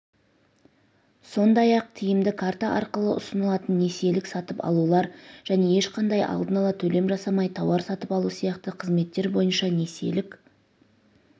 сондай-ақ тиімді карта арқылы ұсынылатын несиелік сатып алулар және ешқандай алдын ала төлем жасамай тауар сатып алу сияқты қызметтер бойынша несиелік